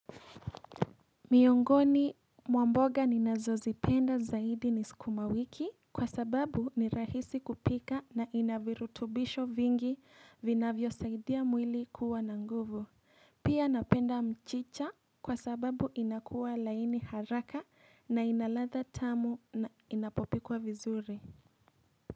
Miongoni mwa mboga ninazozipenda zaidi ni sukuma wiki kwa sababu ni rahisi kupika na inavirutubisho vingi vinavyosaidia mwili kuwa na nguvu. Pia napenda mchicha kwa sababu inakuwa laini haraka na inalatha tamu na inapopikwa vizuri.